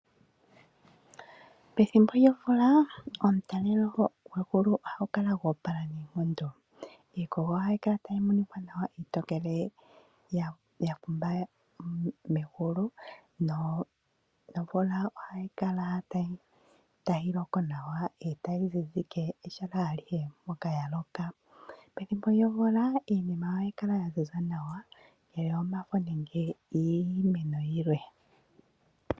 Pethimbo lyomvula omutalelo gwegulu ohagu kala go opala noonkondo. Iikogo ohayi kala tayi monika nawa, iitokele ya kumba megulu, nomvula ohayi kala tayi loko nawa etayi zizike pehala alihe mpoka ya loka. Pethimbo lyomvula iinima ohayi kala ya ziza nawa ngele omafo nenge iimeno yilwe.